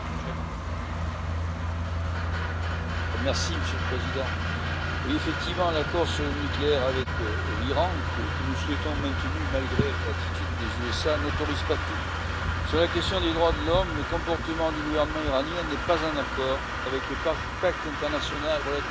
Monsieur le Président, l'accord sur le nucléaire avec l'Iran, que nous souhaitons voir maintenu malgré l'attitude des États Unis, n'autorise pas tout. Sur la question des droits de l'homme, le comportement du gouvernement iranien n'est pas en accord avec le pacte international relatif aux droits civils et politiques, dont il est pourtant partie prenante.